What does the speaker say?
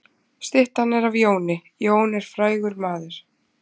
Styttan er af Jóni. Jón er frægur maður.